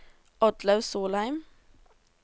Oddlaug Solheim